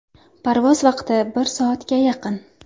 Parvoz vaqti bir soatga yaqin.